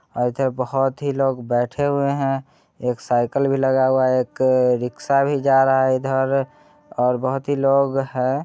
आय तो बोहोत ही लोग बैठे हुए है एक साइकल भी लगा हुआ है एक अ रिकसा भी जा रहा है इधर और बोहोत ही लोग है ।